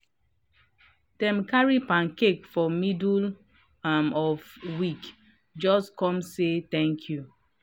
dem carry pancake for middle um of week just come say thank you.